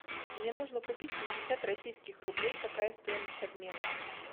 мне нужно купить пятьдесят российских рублей какая стоимость обмена